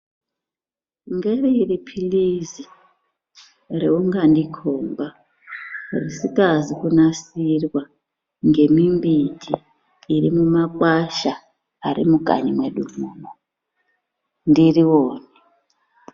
Ngeriri pirizi raungandikomba risingazi kunasirwa ngemimbiti iri mumakwasha erimukanyi mwedu munomu ndiri one.